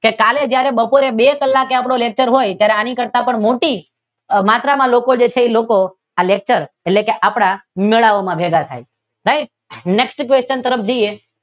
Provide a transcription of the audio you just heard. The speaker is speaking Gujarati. કાલે જ્યારે બપોરે બે કલાકે આપડે લેકચર હોય ત્યારે આની કરતાં પણ મોટી માત્રામાં પણ લોકો આ લેકચર એટલે કે આપડા મેળાઓમાં ભેગા થાય એટલે કે થાય ને